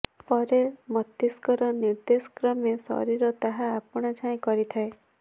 ପରେ ମସ୍ତିଷ୍କର ନିର୍ଦେଶ କ୍ରମେ ଶରୀର ତାହା ଆପଣାଛାଏଁ କରିଥାଏ